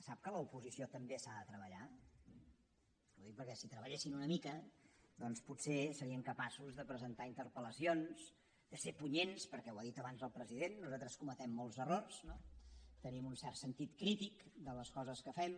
sap que l’oposició també s’ha de treballar és que ho dic perquè si treballessin una mica doncs potser serien capaços de presentar interpellacions de ser punyents perquè ho ha dit abans el president nosaltres cometem molts errors tenim un cert sentit crític de les coses que fem